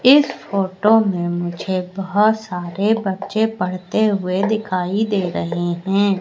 इस फोटो में मुझे बहोत सारे बच्चे पढ़ते हुए दिखाई दे रहे हैं।